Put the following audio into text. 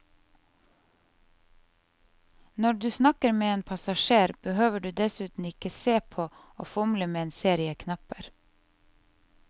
Når du snakker med en passasjer, behøver du dessuten ikke se på og fomle med en serie knapper.